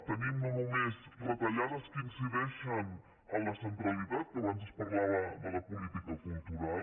tenim no només retallades que in·cideixen a la centralitat que abans es parlava de la po·lítica cultural